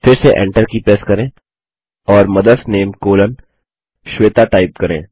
फिर से Enter की प्रेस करें और mother's name colon Shweta type करें